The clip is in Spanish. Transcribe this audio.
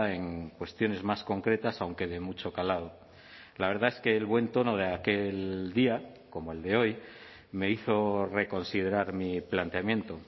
en cuestiones más concretas aunque de mucho calado la verdad es que el buen tono de aquel día como el de hoy me hizo reconsiderar mi planteamiento